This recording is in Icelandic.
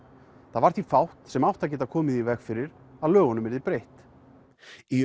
það var því fátt sem átti að geta komið í veg fyrir að lögunum yrði breytt í